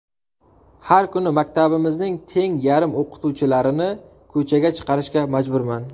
Har kuni maktabimizning teng yarim o‘qituvchilarini ko‘chaga chiqarishga majburman.